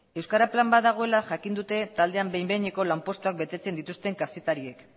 euskara plan bat dagoela jakin dute taldean behin behineko lanpostuak betetzen dituzten kazetariek